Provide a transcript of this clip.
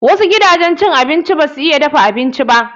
Wasu gidajen cin abinci ba su iya dafa abinci ba.